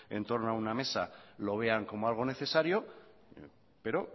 en torno a una mesa lo vean como algo necesario pero